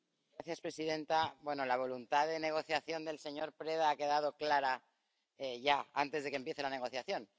Señora presidenta, la voluntad de negociación del señor Preda ha quedado clara ya antes de que empiece la negociación.